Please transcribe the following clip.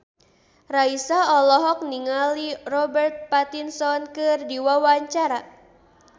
Raisa olohok ningali Robert Pattinson keur diwawancara